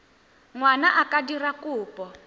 ngwana a ka dira kopo